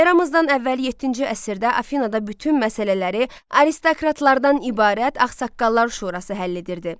Eramızdan əvvəl yeddinci əsrdə Afinada bütün məsələləri aristokratlardan ibarət Ağsaqqallar Şurası həll edirdi.